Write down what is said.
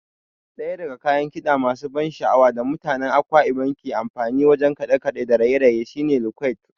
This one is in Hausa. Ɗaya daga kayan kiɗa masu ban sha'awa da mutanen Akwa Ibom ke amfani wajen kaɗe-kaɗe da raye-raye shine Iquot.